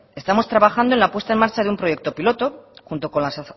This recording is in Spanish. estamos trabajando en la puesta en marcha de un proyecto piloto junto con las